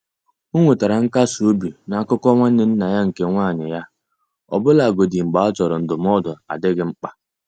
Ọ nwetara nkasi obi na akụkọ nwanne nna ya nke nwanyị ya, ọbụlagodi mgbe a chọrọ ndụmọdụ adịghị mkpa.